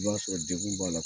I b'a sɔrɔ dɛgun b'a la